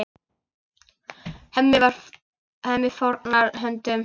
Hemmi fórnar höndum.